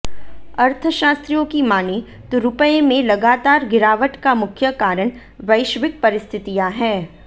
अर्थशास्त्रियों की मानें तो रुपए में लगातार गिरावट का मुख्य कारण वैश्विक परिस्थितियां हैं